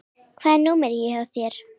Hvað er númerið hjá þér?